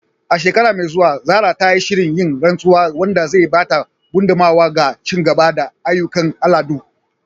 A shekara mai zuwa, Zarah ta shirya yin rantsuwa, wanda zai ba da gudummawa ga ci gaba da ayyukan al'adu.